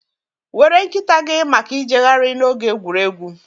Were nkịta gị maka ijegharị na oge egwuregwu.